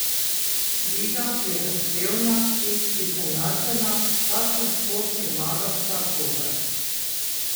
Liga je zahtevna in izenačena, vsak lahko premaga vsakogar.